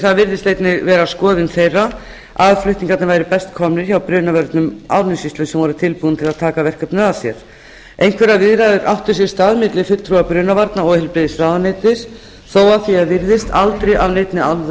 það virðist einnig vera skoðun þeirra að flutningarnir væru best komnir hjá brunavörnum árnessýslu sem voru tilbúnir til að taka verkefnið að sér einhverjar viðræður áttu sér stað milli fulltrúa brunavarna og heilbrigðisráðuneytis þó að því er virðist aldrei af neinni